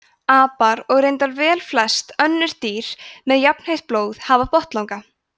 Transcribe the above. apar og reyndar velflest önnur dýr með jafnheitt blóð hafa botnlanga